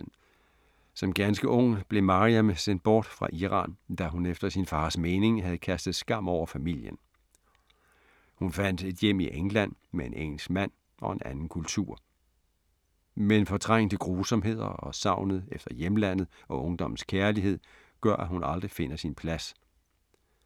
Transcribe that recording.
Som ganske ung blev Maryam sendt bort fra Iran, da hun efter sin fars mening havde kastet skam over familien. Hun fandt et hjem i England med en engelsk mand og en anden kultur. Men fortrængte grusomheder og savnet efter hjemlandet og ungdommens kærlighed gør, at hun aldrig finder sin plads.